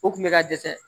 O kun bɛ ka dɛsɛ